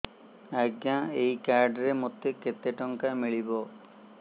ଆଜ୍ଞା ଏଇ କାର୍ଡ ରେ ମୋତେ କେତେ ଟଙ୍କା ମିଳିବ